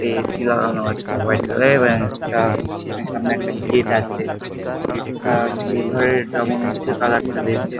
AC. লাগানো আছে। White colour -এর ব্যানার -টা সামনে একটা গেট আছে। গেট -টা সিলভার -এর যা মনে হচ্ছে কালার -টা বেশ দে--